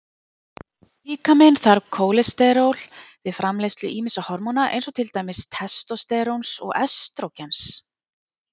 Líkaminn þarf kólesteról við framleiðslu ýmissa hormóna eins og til dæmis testósteróns og estrógens.